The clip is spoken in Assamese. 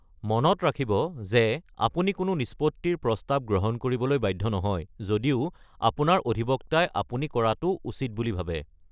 মনত ৰাখিব যে আপুনি কোনো নিষ্পত্তিৰ প্ৰস্তাৱ ল’বলৈ বাধ্য নহয়, যদিও আপোনাৰ অধিবক্তাই আপুনি ল’ব লাগে বুলি ভাবে।